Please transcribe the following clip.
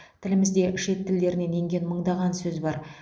тілімізде шет тілдерінен енген мыңдаған сөз бар